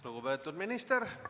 Lugupeetud minister!